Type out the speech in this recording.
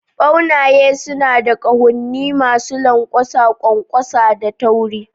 Ɓaunaye suna da ƙahonni masu lanƙwasa, ƙwanƙwasa da tauri